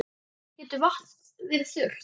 Getur vatn verið þurrt?